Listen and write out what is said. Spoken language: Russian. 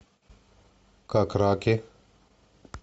как раки